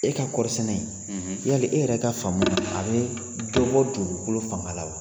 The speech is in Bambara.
E ka kɔri sɛnɛ in yali e yɛrɛ ka faamu na a bɛ dɔ bɔ dugukolo fanga la wa?